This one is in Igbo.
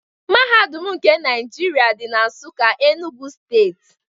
Mahadum nke Naijiria dị na Nsụka, Enugwu steeti.